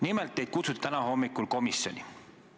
Nimelt, teid kutsuti täna hommikul komisjoni.